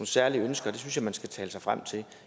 særlige ønsker det synes jeg man skal tale sig frem til